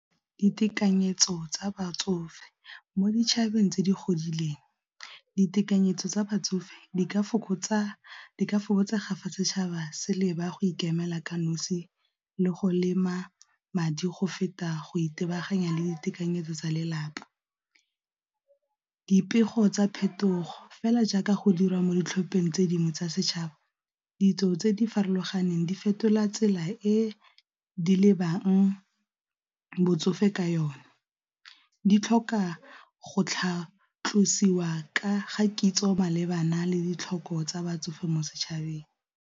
Ditekanyetso tsa batsofe mo ditšhabeng tse di godileng ditekanyetso tsa batsofe di ka fokotsega fa setšhaba se leba go ikemela ka nosi le go lema madi go feta go itebaganya le ditekanyetso tsa lelapa. Dipego tsa phetogo fela jaaka go dirwa mo ditlhopheng tse dingwe tsa setšhaba ditso tse di farologaneng di fetola tsela e di lebang botsofe ka yone, di tlhoka go tlhatlosiwa ka ga kitso malebana le ditlhoko tsa batsofe mo setšhabeng.